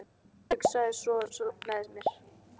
Ég hugsaði sem svo með mér